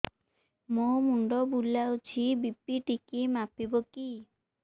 ମୋ ମୁଣ୍ଡ ବୁଲାଉଛି ବି.ପି ଟିକିଏ ମାପିବ କି